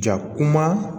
Ja kuma